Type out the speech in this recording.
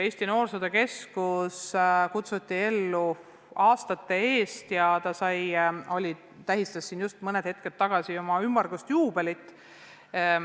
Eesti Noorsootöö Keskus kutsuti ellu aastate eest ja tähistas mõni aeg tagasi ümmargust juubelit.